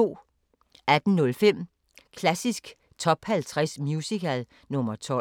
18:05: Klassisk Top 50 Musical – nr. 12